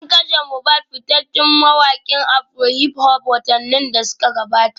An kashe Mobad fitaccen mawakin afrohiphop watanni da suka gabata